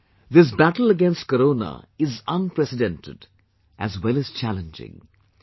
Friends, this battle against corona is unprecedented as well as challenging